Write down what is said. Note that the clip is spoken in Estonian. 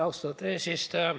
Austatud eesistuja!